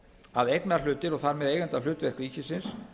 að eignarhlutir og þar með eigendahlutverk ríkisins